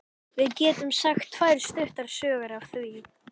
Við getum sagt tvær stuttar sögur af því.